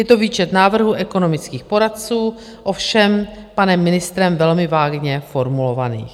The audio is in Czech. Je to výčet návrhů ekonomických poradců, ovšem panem ministrem velmi vágně formulovaných.